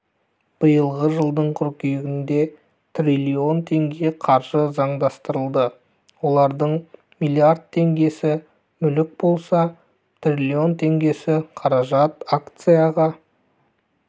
биылғы жылдың қыркүйегінде триллион теңге қаржы заңдастырылды олардың млрд теңгесі мүлік болса триллион теңгесі қаражат акцияға